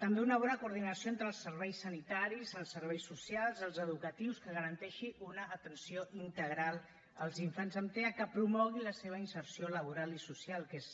també una bona coordinació entre els serveis sanitaris els serveis socials els educatius que garanteixi una atenció integral als infants amb tea que promogui la seva inserció laboral i social que és